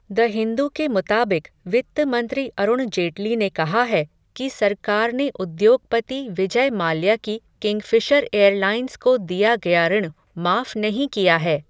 The Hindu के मुताबिक वित्त मंत्री अरुण जेटली ने कहा है, कि सरकार ने उद्योगपति विजय माल्या की किंगफ़िशर एयरलाइन्स को, दिया गया ऋण, माफ़ नहीं किया है.